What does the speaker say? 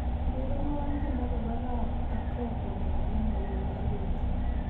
Urerenwo tiendo nebo Rap ak Rock kongetee agenge akoi ake